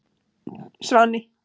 Svani